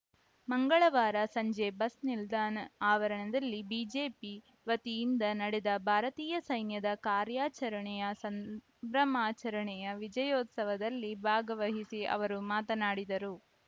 ಮಂಗಳವಾರ ಸಂಜೆ ಬಸ್‌ ನಿಲ್ದಾಣ ಆವರಣದಲ್ಲಿ ಬಿಜೆಪಿ ವತಿಯಿಂದ ನಡೆದ ಭಾರತೀಯ ಸೈನ್ಯದ ಕಾರ್ಯಾಚರಣೆಯ ಸಂಭ್ರಮಾಚರಣೆಯ ವಿಜಯೋತ್ಸವದಲ್ಲಿ ಭಾಗವಹಿಸಿ ಅವರು ಮಾತನಾಡಿದರು